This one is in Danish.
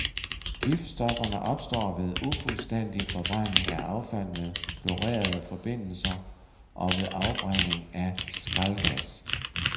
Giftstofferne opstår ved ufuldstændig forbrænding af affald med klorerede forbindelser og ved afbrænding af skraldgas.